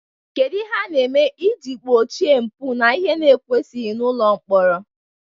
Kedu ihe a na-eme iji gbochie mpụ na ihe na ekwesighi n'ụlọ mkpọrọ?